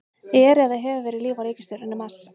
Er eða hefur verið líf á reikistjörnunni Mars?